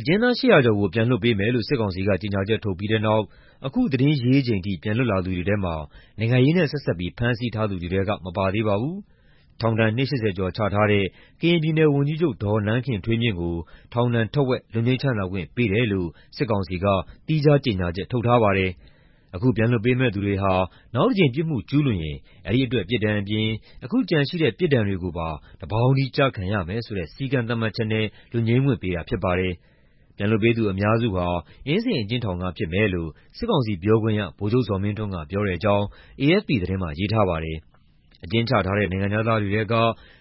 အကျဉ်းသား ၈၀၀ ကျော်ကို ပြန်လွှတ်ပေးမယ်လို့ စစ်ကောင်စီက ကြေညာချက် ထုတ်ပြီးတဲ့နောက် အခုသတင်းရေးချိန်ထိ ပြန်လွတ်လာသူတွေထဲမှာ နိုင်ငံရေးနဲ့ ဆက်စပ်ပြီး ဖမ်းဆီးထားသူတွေထဲက မပါသေးပါဘူး။ ထောင်ဒဏ် နှစ် ၈၀ ကျော် ချထားတဲ့ ကရင်ပြည်နယ်ဝန်ကြီးချုပ် ဒေါ်နန်းခင်ထွေးမြင့်ကို ထောင်ဒဏ်ထက်ဝက် လွတ်ငြိမ်းချမ်းသာခွင့် ပေးတယ်လို့တော့ စစ်ကောင်စီက သီးခြားကြေညာချက် ထုတ်ထားပါတယ်။ အခုပြန်လွှတ်ပေးမယ့်သူတွေဟာ နောက်တကြိမ် ပြစ်မှုကျူးလွန်ရင် အဲဒီအတွက် ပြစ်ဒဏ်အပြင် အခုကျန်ရှိတဲ့ ပြစ်ဒဏ်တွေကိုပါ တပေါင်းတည်း ကျခံရမယ်ဆိုတဲ့ စည်းကမ်းသတ်မှတ်ချက်နဲ့ လွတ်ငြိမ်းခွင့်ပေးတာ ဖြစ်ပါတယ်။ အခုပြန်လွှတ်ပေးသူ အများစုဟာ အင်းစိန်အကျဉ်းထောင်က ဖြစ်မယ်လို့ စစ်ကောင်စီပြောခွင့်ရ ဗိုလ်ချုပ်ဇော်မင်းထွန်းက ပြောတဲ့အကြောင်း AFP သတင်းတပုဒ်မှာ ရေးထားပါတယ်။ အကျဉ်းချထားတဲ့ နိုင်ငံခြားသားတွေထဲက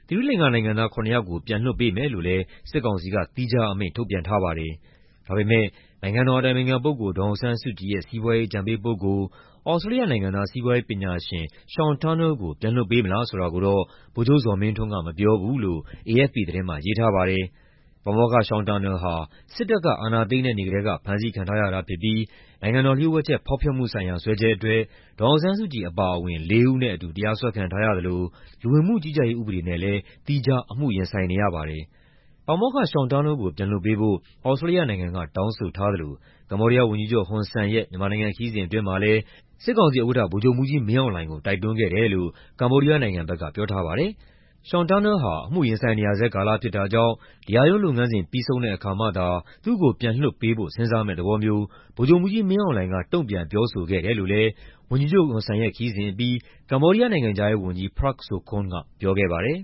သီရိလင်္ကာနိုင်ငံသား ၇ ယောက်ကို ပြန်လွှတ်ပေးမယ်လို့လည်း စစ်ကောင်စီက သီးခြားအမိန့် ထုတ်ပြန်ထားပါတယ်။ ဒါပေမယ့် နိုင်ငံတော်အတိုင်ပင်ခံပုဂ္ဂိုလ် ဒေါ်အောင်ဆန်းစုကြည်ရဲ့ စီးပွားရေး အကြံပေးပုဂ္ဂိုလ်၊ သြစတြေးလျနိုင်ငံသား စီးပွားရေးပညာရှင် Sean Turnell ကို ပြန်လွှတ်ပေးမလား ဆိုတာကိုတော့ ဗိုလ်ချုပ်ဇော်မင်းထွန်းက မပြောဘူးလို့ AFP သတင်းမှာ ရေးထားပါတယ်။ ပါမောက္ခ Sean Turnell ဟာ စစ်တပ်က အာဏာသိမ်းတဲ့ နေ့ကတည်းက ဖမ်းဆီးခံထားရတာဖြစ်ပြီး နိုင်ငံတော်လျှို့ဝှက်ချက် ဖောက်ဖျက်မှုဆိုင်ရာ စွဲချက်အတွက် ဒေါ်အောင်ဆန်းစုကြည် အပါအဝင် လေးဦးနဲ့အတူ တရားစွဲခံထားရသလို လူဝင်မှုကြီးကြပ်ရေး ဥပဒေနဲ့လည်း သီးခြား အမှုရင်ဆိုင်နေရပါတယ်။ ပါမောက္ခ Sean Turnell ကို ပြန်လွှတ်ပေးဖို့ သြစတြေးလျနိုင်ငံက တောင်းဆိုထားသလို ကမ္ဘောဒီးယားဝန်ကြီးချုပ် ဟွန်ဆန်ရဲ့ မြန်မာနိုင်ငံခရီးစဉ် အတွင်းမှာလည်း စစ်ကောင်စီဥက္ကဋ္ဌ ဗိုလ်ချုပ်မှူးကြီးမင်းအောင်လှိုင်ကို တိုက်တွန်းခဲ့တယ်လို့ ကမ္ဘောဒီးယားနိုင်ငံဘက်က ပြောထားပါတယ်။ Sean Turnell ဟာ အမှုရင်ဆိုင်နေရဆဲကာလ ဖြစ်တာကြောင့် တရားရုံးလုပ်ငန်းစဉ် ပြီးဆုံးတဲ့အခါမှသာ သူ့ကို ပြန်လွှတ်ပေးဖို့ စဉ်းစားမယ့်သဘောမျိုး ဗိုလ်ချုပ်မှူးကြီးမင်းအောင်လှိုင်က တုံ့ပြန်ပြောဆိုခဲ့တယ်လို့လည်း ဝန်ကြီးချုပ် ဟွန်ဆန်ရဲ့ ခရီးစဉ်အပြီးမှာ ကမ္ဘောဒီးယား နိုင်ငံခြားရေးဝန်ကြီး Prak Sokhonn က ပြောခဲ့ပါတယ်။